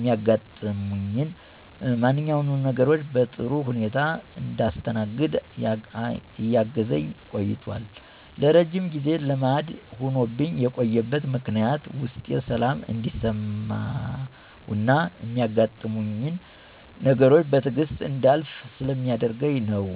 ሚያጋጥሙኝን ማንኛውንም ነገሮች በጥሩ ሁኔታ እንዳስተናግድ እያገዘኝ ቆይቶል። ለረጅም ጊዜ ልማድ ሆኖብኝ የቆየበት ምክንያትም ውስጤ ሰላም እንዲሰማውና ሚያጋጥሙኝን ነገሮች በትዕግስት እንዳልፍ ስለሚያደርገኝ ነው።